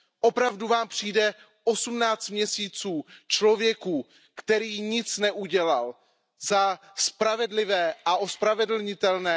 Opravdu Vám přijde 18 měsíců člověku, který nic neudělal, za spravedlivé a ospravedlnitelné?